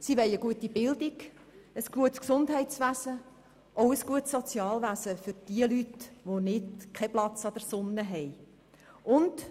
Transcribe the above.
Sie wollen eine gute Bildung, ein gutes Gesundheitswesen und auch ein gutes Sozialwesen für die Leute, die keinen Platz auf der Sonnenseite haben.